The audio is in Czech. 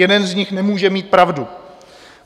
Jeden z nich nemůže mít pravdu.